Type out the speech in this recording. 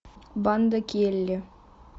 банда келли